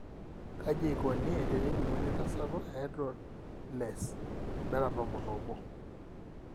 Kaji eikoni tenejung'uni entasato ehydroxylase beta tomon oobo?